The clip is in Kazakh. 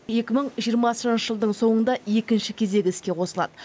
екі мың жиырмасыншы жылдың соңында екінші кезегі іске қосылады